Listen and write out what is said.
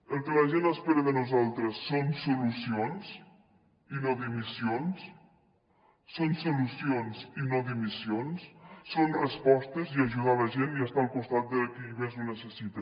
el que la gent espera de nosal tres són solucions i no dimissions són solucions i no dimissions són respostes i ajudar la gent i estar al costat de qui més ho necessita